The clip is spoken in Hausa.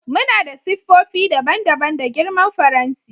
Muna da siffofi daban-daban da girman faranti.